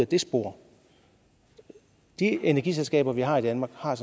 det spor de energiselskaber vi har i danmark har